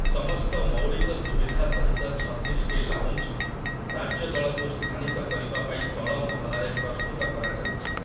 ସମସ୍ତ ମୌଳିକ ସୁବିଧା ସହିତ ଛତିଶଟି ଲାଉଞ୍ଜ, ରାଜ୍ୟ ଦଳକୁ ସ୍ଥାନିତ କରିବା ପାଇଁ ତଳ ମହଲାରେ ପ୍ରସ୍ତୁତ କରାଯାଉଛି ।